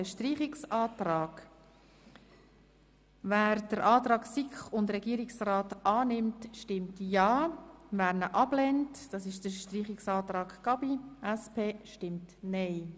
Wer den Antrag SiK und Regierungsrat annimmt, stimmt ja, wer ihn ablehnt bzw. den Streichungsantrag Gabi Schönenberger annimmt, stimmt nein.